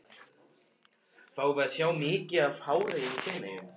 Fáum við að sjá mikið af hári í Feneyjum?